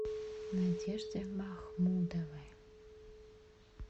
надежде махмудовой